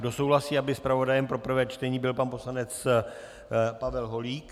Kdo souhlasí, aby zpravodajem pro prvé čtení byl pan poslanec Pavel Holík?